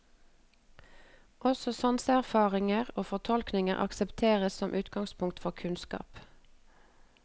Også sanseerfaringer og fortolkninger aksepteres som utgangspunkt for kunnskap.